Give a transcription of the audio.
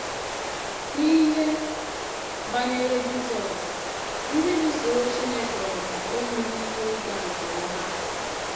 N’ihe banyere Jisọs, ndị lụsoro Chineke ọgụ enweghị ihe ịga nke ọma